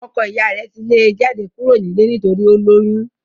ọkọ iya rẹ̀ ti lé e jáde kúrò nílé nítorí ó lóyún